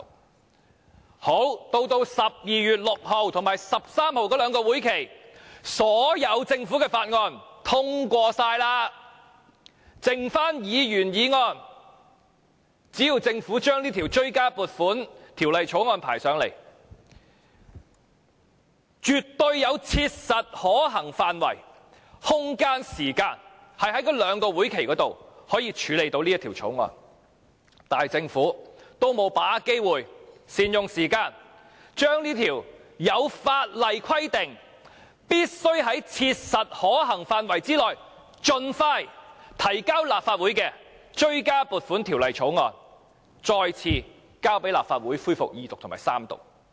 然後到了12月6日及13日這兩個會期，所有政府的附屬法例也通過了，只餘下議員議案，只要政府將這項追加撥款條例草案交上來，絕對有切實可行範圍、空間、時間，在這兩個會期內處理這項條例草案，但政府沒有把握機會，善用時間將這項在法例上規定必須在切實可行範圍內盡快提交的追加撥款條例草案，交來立法會進行二讀及三讀。